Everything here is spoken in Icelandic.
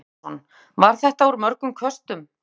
Kristján Már Unnarsson: Var þetta úr mörgum köstum?